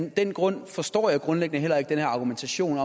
af den grund forstår jeg grundlæggende heller ikke den her argumentation